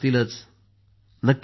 हो नक्कीच सर